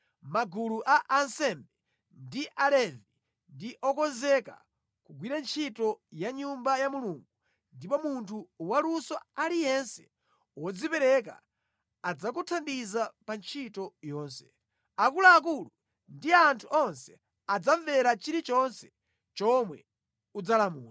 Magulu a ansembe ndi Alevi ndi okonzeka kugwira ntchito ya Nyumba ya Mulungu, ndipo munthu waluso aliyense wodzipereka adzakuthandiza pa ntchito yonse. Akuluakulu ndi anthu onse adzamvera chilichonse chomwe udzalamula.”